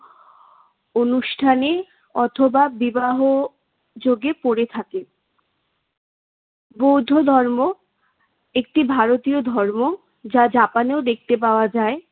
অনুষ্ঠানে অথবা বিবাহ যোগে পড়ে থাকে। বৌদ্ধ ধর্ম একটি ভারতীয় ধর্ম। যা জাপানেও দেখতে পাওয়া যায়।